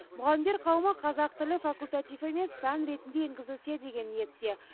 мұғалімдер қауымы қазақ тілі факультатив емес пән ретінде енгізілсе деген ниетте